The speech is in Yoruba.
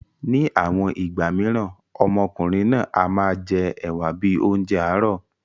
Ní àwọn ìgbà míràn, ọmọkùnrin náà a máa jẹ ẹ̀wa bíi oúnjẹ àárọ̀.